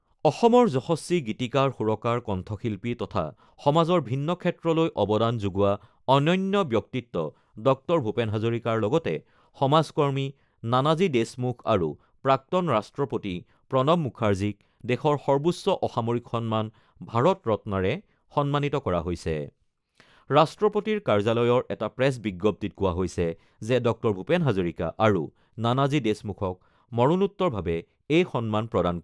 অসমৰ যশস্বী গীতিকাৰ-সুৰকাৰ, কণ্ঠশিল্পী তথা সমাজৰ ভিন্ন ক্ষেত্ৰলৈ অৱদান যোগোৱা অনন্য ব্যক্তিত্ব ডঃ ভূপেন হাজৰিকাৰ লগতে সমাজকৰ্মী নানাজী দেশমুখ আৰু প্ৰাক্তন ৰাষ্ট্ৰপতি প্ৰণৱ মুখাৰ্জীক দেশৰ সৰ্বোচ্চ অসামৰিক সন্মান ভাৰত ৰত্নৰে সন্মানিত কৰা হৈছে। ৰাষ্ট্ৰপতিৰ কাৰ্যালয়ৰ এটা প্ৰেছ বিজ্ঞপ্তিত কোৱা হৈছে যে, ডঃ ভূপেন হাজৰিকা আৰু নানাজী দেশমুখক মৰণোত্তৰভাৱে এই সন্মান প্ৰদান